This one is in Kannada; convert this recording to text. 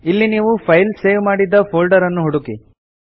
ಇಲ್ಲಿ ನೀವು ಫೈಲ್ ಸೇವ್ ಮಾಡಿದ ಫೋಲ್ಡರ್ ನ್ನು ಹುಡುಕಿ